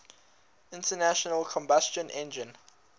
internal combustion engine